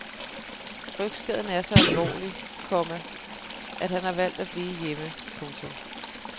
Rygskaden er så alvorlig, komma at han har valgt at blive hjemme. punktum